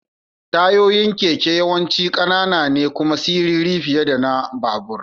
Tayoyin keke yawanci ƙanana ne kuma siriri fiye da na babur.